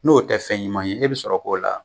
N'o tɛ fɛn ɲuman ye e be sɔrɔ k'o la